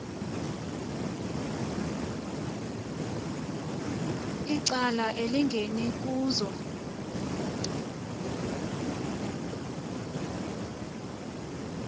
icala elingeni kuzo